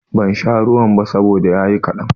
Ban sha ruwan ba saboda ya yi kaɗan.